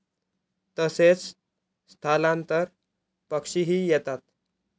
तसेच स्थलांतर पक्षीही येतात.